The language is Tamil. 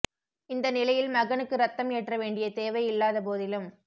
இந்த நிலையில் மகனுக்கு இரத்தம் ஏற்ற வேண்டிய தேவை இல்லாத போதிலும்